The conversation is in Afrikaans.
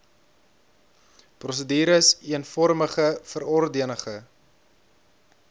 prosedures eenvormige verordenige